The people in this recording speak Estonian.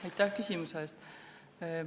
Aitäh küsimuse eest!